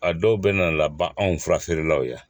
A dɔw bɛ na laban anw fura feerelaw ye